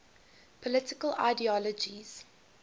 political ideologies